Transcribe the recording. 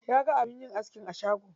Ya ga abin yin askin a shagon.